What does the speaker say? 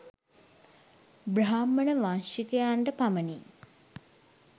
බ්‍රාහ්මණ වංශිකයන්ට පමණි.